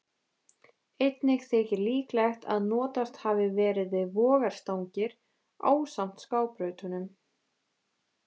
Einnig þykir líklegt að notast hafi verið við vogarstangir ásamt skábrautunum.